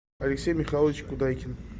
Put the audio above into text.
алексей михайлович кудайкин